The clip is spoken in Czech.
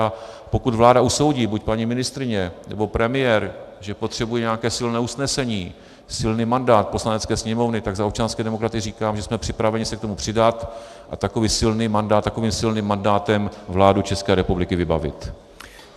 A pokud vláda usoudí, buď paní ministryně, nebo premiér, že potřebují nějaké silné usnesení, silný mandát Poslanecké sněmovny, tak za občanské demokraty říkám, že jsme připraveni se k tomu přidat a takovým silným mandátem vládu České republiky vybavit.